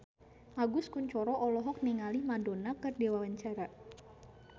Agus Kuncoro olohok ningali Madonna keur diwawancara